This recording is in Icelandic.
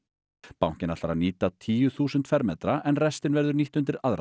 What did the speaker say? bankinn ætlar að nýta tíu þúsund fermetra en restin verður nýtt undir aðra